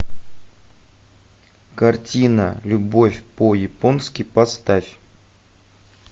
картина любовь по японски поставь